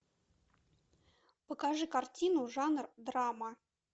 покажи картину жанр драма